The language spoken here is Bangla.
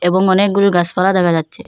এবং অনেকগুলো গাছপালা দেখা যাচ্ছে।